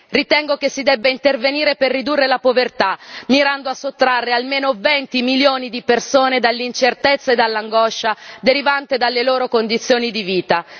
Ritengo che si debba intervenire per ridurre la povertà, mirando a sottrarre almeno 20 milioni di persone dall'incertezza e dall'angoscia derivante dalle loro condizioni di vita.